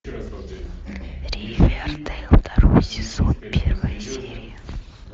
ривердейл второй сезон первая серия